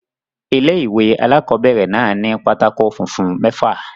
Ilé-ìwé alákobẹ̀rẹ̀ náà ni pátákó funfun mẹ́fà